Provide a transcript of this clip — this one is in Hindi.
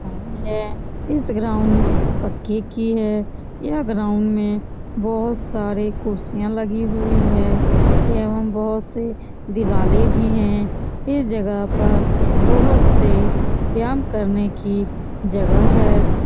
ग्राउंड है । इस ग्राउंड में तकिये की है । यह ग्राउंड में बहुत सारे कुर्सिय लगी हुए है । ये हम बहुत से दिवाले भी है । उन जगह पर बहुत से व्यायाम करने की जगह है ।